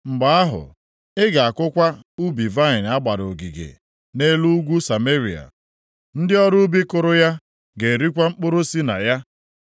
Mgbe ahụ, ị ga-akụkwa ubi vaịnị a gbara ogige nʼelu ugwu Sameria. Ndị ọrụ ubi kụrụ ya ga-erikwa mkpụrụ si na ya.